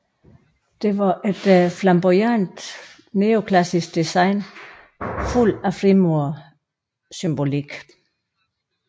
Det var et flamboyant neoklassisk design fuld af frimurersymbolik